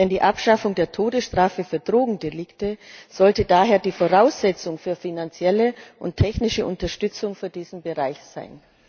Die Abschaffung der Todesstrafe für Drogendelikte sollte daher die Voraussetzung für finanzielle und technische Unterstützung für diesen Bereich sein.